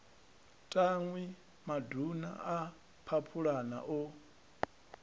tanwi maduna a phaphulana o